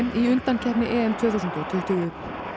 í undankeppni tvö þúsund og tuttugu